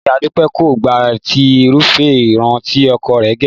Ìyá Dúpẹ́ kò gba ti irúfẹ́ irun tí ọkọ rẹ̀ gẹ̀